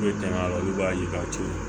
olu b'a ye k'a to yen